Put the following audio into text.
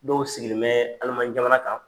Dow sigilen bɛ Alimaɲi jamana kan.